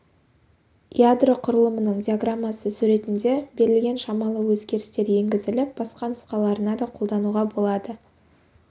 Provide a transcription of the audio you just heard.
ядро құраламының диаграммасы суретінде берілген шамалы өзгерістер енгізіліп басқа нұсқаларына да қолдануға болады